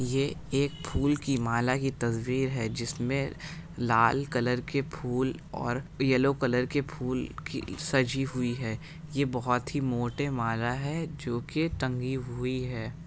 ये एक फूल की माला की तस्वीर है जिसमें लाल कलर के फूल और येलो कलर के फूल खिल सजी हुई है यह बहुत ही मोटे माला है जो की टंगी हुई है ।